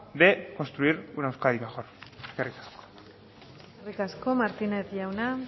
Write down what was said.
de construir una euskadi mejor eskerrik asko eskerrik asko martínez jauna